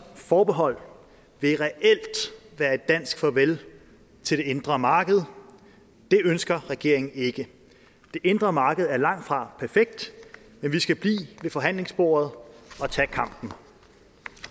forbehold vil reelt være et dansk farvel til det indre marked og det ønsker regeringen ikke det indre marked er langtfra perfekt men vi skal blive ved forhandlingsbordet og tage kampen